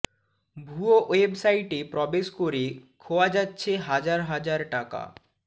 ভুয়ো ওয়েবসাইটে প্রবেশ করে খোয়া যাচ্ছে হাজার হাজার টাকা